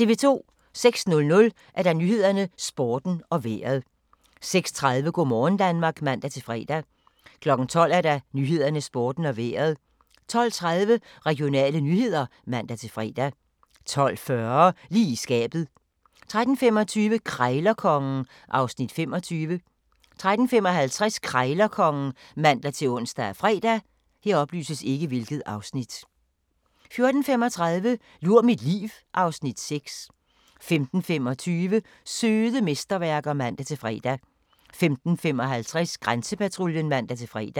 06:00: Nyhederne, Sporten og Vejret 06:30: Go' morgen Danmark (man-fre) 12:00: Nyhederne, Sporten og Vejret 12:30: Regionale nyheder (man-fre) 12:40: Lige i skabet 13:25: Krejlerkongen (Afs. 25) 13:55: Krejlerkongen (man-ons og fre) 14:35: Lur mit liv (Afs. 6) 15:25: Søde mesterværker (man-fre) 15:55: Grænsepatruljen (man-fre)